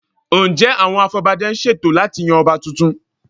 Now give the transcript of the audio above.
Ǹjẹ́ àwọn afọbajẹ ń ṣètò láti yan Ọba tuntun?